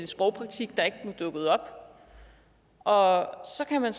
sprogpolitik der ikke var dukket op og så kan man